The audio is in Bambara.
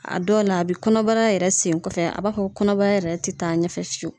A dɔw la, a be kɔnɔbara yɛrɛ segin kɔfɛ .A b'a fɔ ko kɔnɔbara yɛrɛ te taa ɲɛfɛ fiyewu.